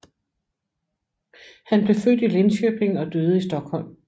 Han blev født i Linköping og døde i Stockholm